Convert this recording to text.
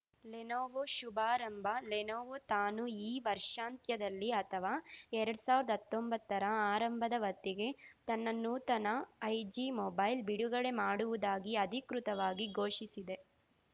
Lenovo ಶುಭಾರಂಭ Lenovo ತಾನೂ ಈ ವರ್ಷಾಂತ್ಯದಲ್ಲಿ ಅಥವಾ ಎರಡ್ ಸಾವಿರ್ದಾ ಹತ್ತೊಂಬತ್ತರ ಆರಂಭದ ಹೊತ್ತಿಗೆ ತನ್ನ ನೂತನ ಐಜಿ ಮೊಬೈಲ್‌ ಬಿಡುಗಡೆ ಮಾಡುವುದಾಗಿ ಅಧಿಕೃತವಾಗಿ ಘೋಷಿಸಿದೆ